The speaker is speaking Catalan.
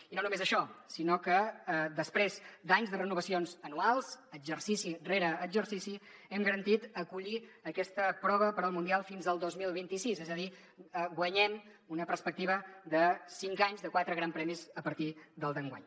i no només això sinó que després d’anys de renovacions anuals exercici rere exercici hem garantit acollir aquesta prova per al mundial fins al dos mil vint sis és a dir guanyem una perspectiva de cinc anys de quatre grans premis a partir del d’enguany